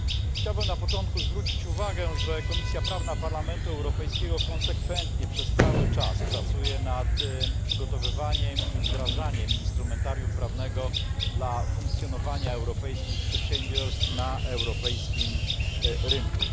Chciałbym na początku zwrócić uwagę, że Komisja Prawna Parlamentu Europejskiego konsekwentnie przez cały czas pracuje nad przygotowywaniem i wdrażaniem instrumentarium prawnego dla funkcjonowania europejskich przedsiębiorstw na europejskim rynku.